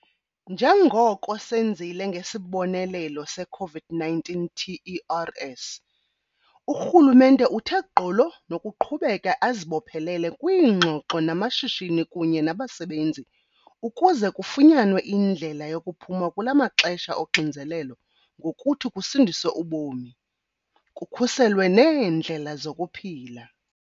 Njengoko senzile ngesibonelelo se-COVID-19 TERS, urhulumente uthe gqolo nokuqhubeka azibophelele kwiingxoxo namashishini kunye nabasebenzi ukuze kufunyanwe indlela yokuphuma kula maxesha oxinzelelo ngokuthi kusindiswe ubomi, kukhuselwe neendlela zokuphila.